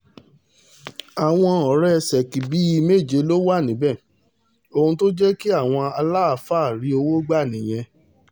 àwọn ọ̀rẹ́ ṣèkì bíi méje ló wà níbẹ̀ ohun tó jẹ́ kí àwọn aláàfáà rí owó gbà nìyẹn